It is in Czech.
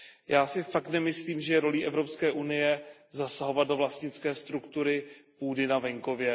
Já si opravdu nemyslím, že rolí Evropské unie je zasahovat do vlastnické struktury půdy na venkově.